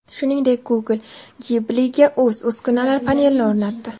Shuningdek, Google Ghibli’ga o‘z uskunalar panelini o‘rnatdi.